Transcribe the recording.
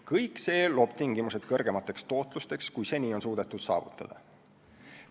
Kõik see loob tingimused kõrgemateks tootlusteks, kui seni on suudetud saavutada.